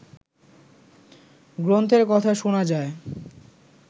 গ্রন্থের কথা শুনা যায়